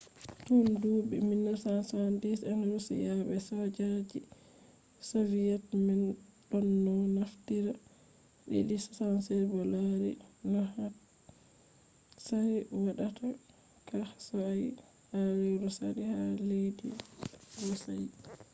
tun duuɓi 1970 en roshiya be soja je soviyet man ɗonno naftira il-76 bo laari no hatsari woɗaka sosai ha lewru sali ha leddi roshiya